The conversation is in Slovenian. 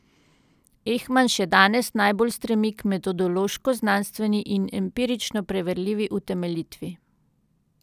Ehman še danes najbolj stremi k metodološko znanstveni in empirično preverljivi utemeljitvi.